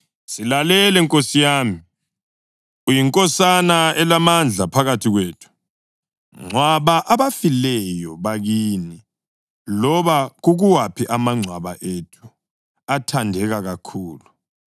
“Silalele, nkosi yami. Uyinkosana elamandla phakathi kwethu. Ngcwaba abafileyo bakini loba kukuwaphi amangcwaba ethu athandeka kakhulu. Kakho owakithi ozakwalela ingcwaba lakhe ukuthi ungcwabe kulo ofileyo wakini.”